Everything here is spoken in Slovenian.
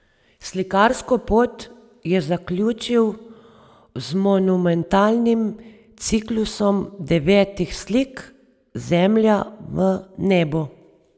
Slikarsko pot je zaključil z monumentalnim ciklusom devetih slik Zemlja v nebu.